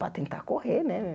Para tentar correr, né?